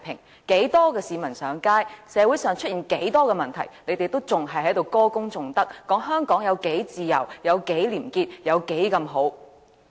無論有多少市民上街遊行，社會上出現多少問題，他們仍然在歌功頌德，說香港有多自由、有多廉潔、有多好。